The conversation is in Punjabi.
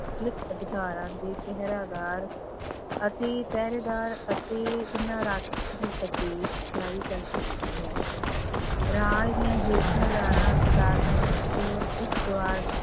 ਅਧਿਕਾਰਾਂ ਦੇ ਪਹਿਰਾਦਾਰ ਅਤੇ ਪਹਿਰੇਦਾਰ ਅਤੇ ਇਹਨਾਂ ਰਾਖੀ ਲਈ ਆਦੇਸ਼ ਜ਼ਾਰੀ ਕਰ ਸਕਦੀ ਹੈ, ਰਾਜ ਦੀਆਂ ਹੇਠਲੀਆਂ ਅਦਾਲਤਾਂ ਵਿੱਚ